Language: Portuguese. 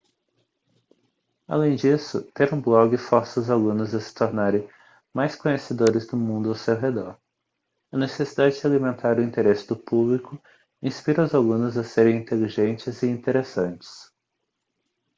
além disso ter um blog força os alunos a se tornarem mais conhecedores do mundo ao seu redor". a necessidade de alimentar o interesse do público inspira os alunos a serem inteligentes e interessantes toto 2004